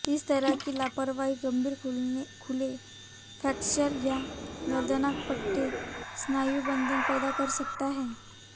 इस तरह की लापरवाही गंभीर खुले फ्रैक्चर या दर्दनाक फटे स्नायुबंधन पैदा कर सकता है